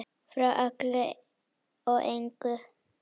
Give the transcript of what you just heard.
Frá öllu og engu.